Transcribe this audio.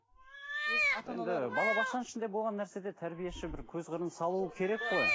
енді балабақшаның ішінде болған нәрседе тәрбиеші бір көз қырын салуы керек қой